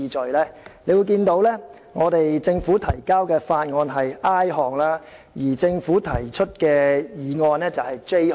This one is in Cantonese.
大家可以看到，政府提交的法案是 i 段，而政府提出的議案則為 j 段。